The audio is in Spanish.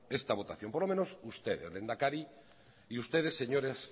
esta votación por lo menos usted el lehendakari y ustedes señoras